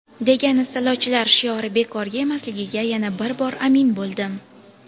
degan istilochilar shiori bekorga emasligiga yana bir bor amin bo‘ldim.